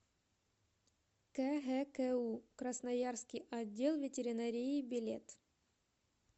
кгку красноярский отдел ветеринарии билет